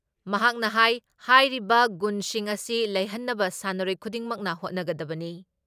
ꯃꯍꯥꯛꯅ ꯍꯥꯏ ꯍꯥꯏꯔꯤꯕ ꯒꯨꯟꯁꯤꯡ ꯑꯁꯤ ꯂꯩꯍꯟꯅꯕ ꯁꯥꯟꯅꯔꯣꯏ ꯈꯨꯗꯤꯡꯃꯛꯅ ꯍꯣꯠꯅꯒꯗꯕꯅꯤ ꯫